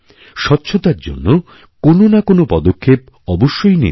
স্বচ্ছতার জন্য কোন না কোনপদক্ষেপ অবশ্যই নিন